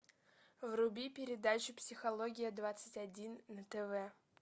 вруби передачу психология двадцать один на тв